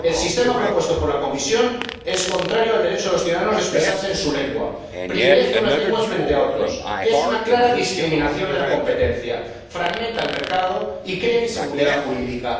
El sistema propuesto por la Comisión es contrario al derecho de los ciudadanos a expresarse en su lengua, privilegia unas lenguas frente a otras, es una clara discriminación de la competencia, fragmenta el mercado y crea inseguridad jurídica.